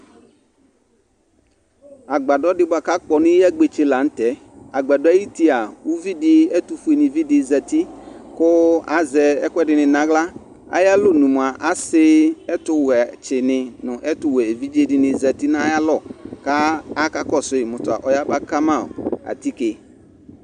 Agbadɔdɩ bʋa k'akpɔ n'iyagbetse la nʋtɛ:agbadɔɛ ay'utia , uvidɩ ɛtʋfuenɩvi dɩ zati, kʋ azɛ ɛkʋɛdɩnɩ n'aɣla Ay'alɔnu mʋa, asɩ ɛtʋwɛtsɩnɩ nʋ ɛtʋwɛ evidzedɩnɩ zati n'ayalɔ ka aka kɔsʋyɩ mʋ tɔ ɔyaba ka ma atike